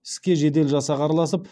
іске жедел жасақ араласып